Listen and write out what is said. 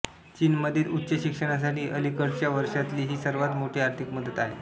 चीनमधील उच्च शिक्षणासाठी अलिकडच्या वर्षांतली ही सर्वात मोठी आर्थिक मदत आहे